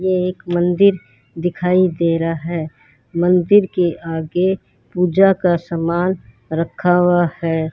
एक मंदिर दिखाई दे रहा है मंदिर के आगे पूजा का सामान रखा हुआ है।